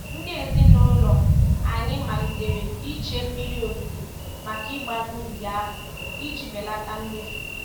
Ndị ezinụụlọ anyị malitere iche mmiri ozuzo maka ịgba n'ubi ahụ iji belata mmefu.